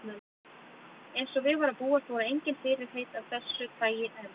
Eins og við var að búast voru engin fyrirheit af þessu tagi efnd.